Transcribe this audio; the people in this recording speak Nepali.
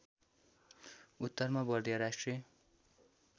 उत्तरमा बर्दिया राष्ट्रिय